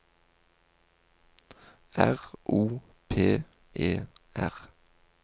R O P E R